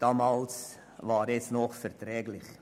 Damals war er noch erträglich.